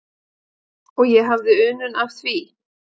Og ég hafði unun af því.